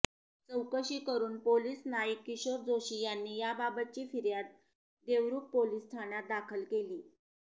चौकशी करून पोलिस नाईक किशोर जोशी यांनी याबाबतची फिर्याद देवरुख पोलिस ठाण्यात दाखल केली